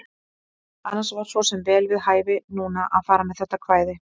Annars var svo sem vel við hæfi núna að fara með þetta kvæði.